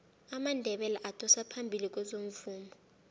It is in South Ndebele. amandebele adosa phambili kwezomvumo